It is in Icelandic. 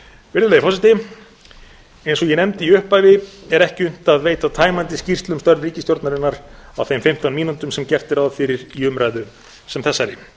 virðulegi forseti eins og ég nefndi í upphafi er ekki unnt að veita tæmandi skýrslu um störf ríkisstjórnarinnar á þeim fimmtán mínútum sem gert er ráð fyrir í umræðu sem þessari